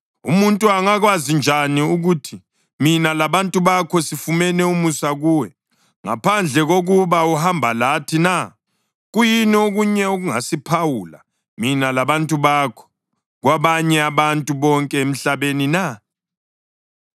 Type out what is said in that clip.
Umuntu angakwazi njani ukuthi mina labantu bakho sifumene umusa kuwe ngaphandle kokuba uhamba lathi na? Kuyini okunye okungasiphawula, mina labantu bakho, kwabanye abantu bonke emhlabeni na?”